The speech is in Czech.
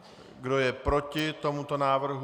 Kdo je proti tomuto návrhu?